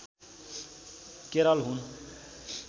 केरल हुन्